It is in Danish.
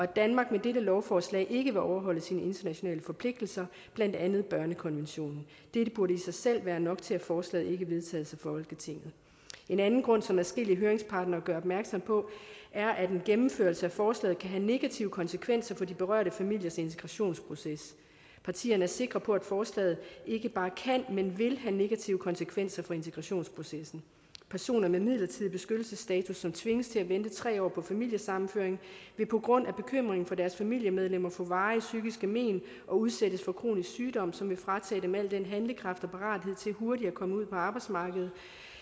danmark med dette lovforslag ikke vil overholde sine internationale forpligtelser blandt andet børnekonventionen dette burde i sig selv være nok til at forslaget ikke vedtages af folketinget en anden grund som adskillige høringspartnere gør opmærksom på er at en gennemførelse af forslaget kan have negative konsekvenser for de berørte familiers integrationsproces partierne er sikre på at forslaget ikke bare kan men vil have negative konsekvenser for integrationsprocessen personer med midlertidig beskyttelsesstatus som tvinges til at vente tre år på familiesammenføring vil på grund af bekymringen for deres familiemedlemmer få varige psykiske mén og udsættes for kronisk sygdom som vil fratage dem al den handlekraft og parathed til hurtigt at komme ud på arbejdsmarkedet